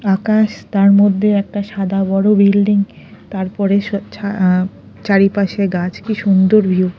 আকাশ তার মধ্যে একটা সাদা বড়ো বিল্ডিং তারপরে স ছা চারিপাশে গাছ কি সুন্দর ভিউ ।